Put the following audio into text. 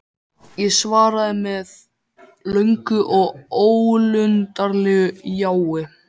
Ég svaraði með löngu og ólundarlegu jái.